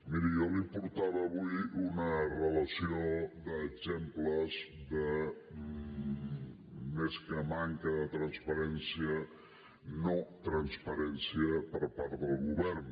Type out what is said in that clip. miri jo li portava avui una relació d’exemples de més que manca de transparència notransparència per part del govern